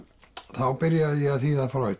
þá byrjaði ég að þýða